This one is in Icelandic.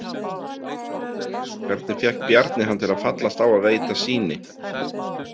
Hvernig fékk Bjarni hann til að fallast á að veita sýni?